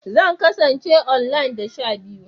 Zan kasance online da sha biyu